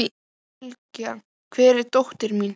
Sylgja, hvar er dótið mitt?